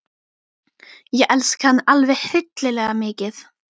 Ég elska hann alveg hryllilega mikið.